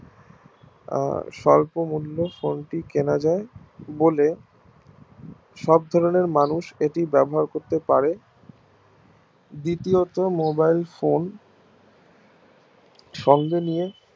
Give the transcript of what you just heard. স্বল্প মূল্যে phone টি কেনা যায় বলে সব ধরণের মানুষ এটি ব্যবহার করতে পারে দ্বিতীয়ত mobile phone সঙ্গে নিয়ে